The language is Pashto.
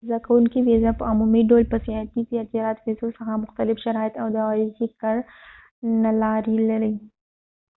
د زده کوونکي ویزه په عمومي ډول د سیاحتي یا تجارتي ویزو څخه مختلف شرایط او د عریضې کړنلارې لري